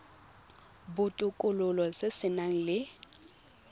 botokololo se se nang le